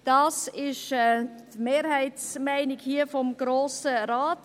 Dies ist die Mehrheitsmeinung des Grossen Rates.